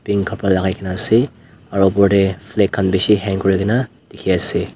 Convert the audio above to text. green khapra lagaigena ase aro opor teh flag khan bishi hang kurigena dikhi ase.